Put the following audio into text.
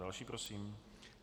Další prosím.